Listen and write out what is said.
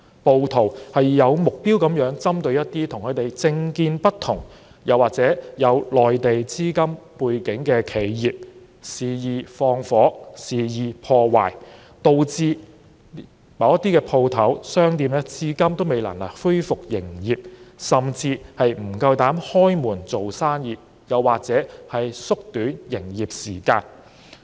暴徒有目標地針對與他們政見不同，又或有內地資金背景的企業，肆意縱火及破壞，導致某些商鋪至今未能恢復營業，甚至不敢營業，又或縮短營業時間。